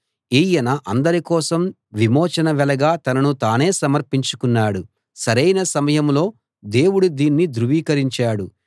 ఈయన అందరి కోసం విమోచన వెలగా తనను తానే సమర్పించుకున్నాడు సరైన సమయంలో దేవుడు దీన్ని ధృవీకరించాడు